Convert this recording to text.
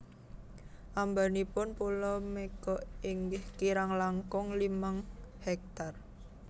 Ambanipun pulo Mega inggih kirang langkung limang Ha